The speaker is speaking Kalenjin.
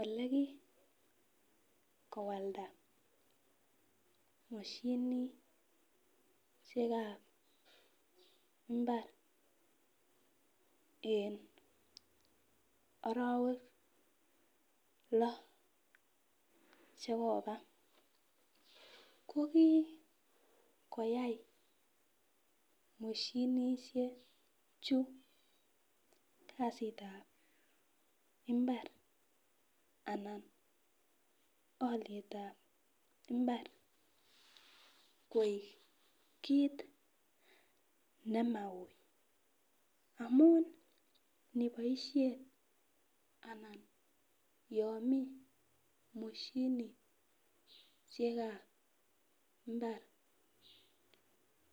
Ole kikowalda mosinisiekab mbar eng orowek loo chekoba ko kikoyai mosinisiechu kasitab mbar anan olietab mbar koik kit nemaui amun niboisien anan yon mi mosinisiekab mbar